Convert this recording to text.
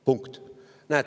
Punkt!